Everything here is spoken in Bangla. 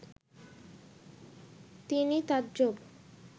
তিনি তাজ্জব